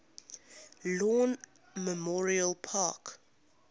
lawn memorial park